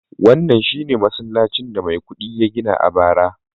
wannan shi ne masallacin da Maikudi ya gina a bara